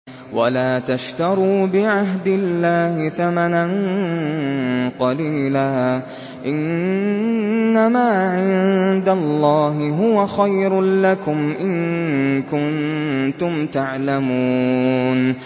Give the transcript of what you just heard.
وَلَا تَشْتَرُوا بِعَهْدِ اللَّهِ ثَمَنًا قَلِيلًا ۚ إِنَّمَا عِندَ اللَّهِ هُوَ خَيْرٌ لَّكُمْ إِن كُنتُمْ تَعْلَمُونَ